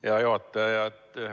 Hea juhataja!